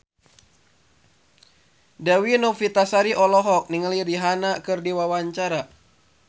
Dewi Novitasari olohok ningali Rihanna keur diwawancara